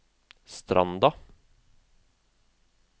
Stranda